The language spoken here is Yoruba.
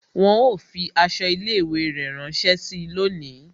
Wọn ó fi aṣọ ilé ìwé rẹ ránsẹ́ síi lónìí